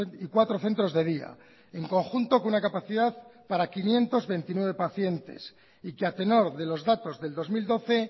y cuatro centros de día en conjunto con una capacidad para quinientos veintinueve pacientes y que a tenor de los datos del dos mil doce